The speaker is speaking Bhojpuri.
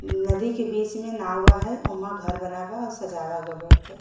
नदी के बीच में नावा है। ओमा घर बना बा औ सजावा ग बाटे।